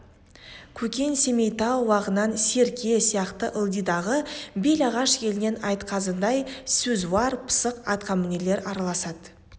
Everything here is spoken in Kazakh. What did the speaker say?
көкен семейтау уағынан серке сияқты ылдидағы белағаш елінен айтқазыдай сөзуар пысық атқамінерлер араласады